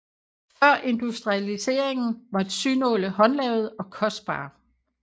Før industrialiseringen var synåle håndlavede og kostbare